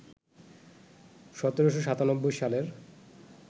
১৭৯৭ সালের